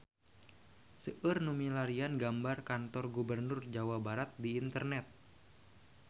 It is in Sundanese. Seueur nu milarian gambar Kantor Gubernur Jawa Barat di internet